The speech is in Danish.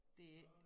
Det ikke